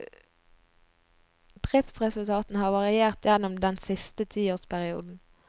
Driftsresultatene har variert gjennom den siste tiårsperioden.